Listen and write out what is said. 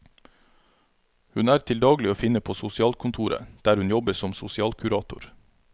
Hun er til daglig å finne på sosialkontoret, der hun jobber som sosialkurator.